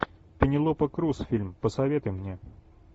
пенелопа крус фильм посоветуй мне